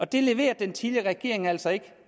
det leverede den tidligere regering altså ikke